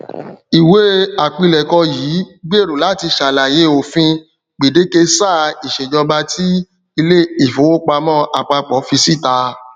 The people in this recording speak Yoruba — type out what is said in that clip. iwe apilẹkọ yii gbero lati ṣalaye ofin gbedeke saa iṣejọba ti ile ifowopamọ apapọ fi sita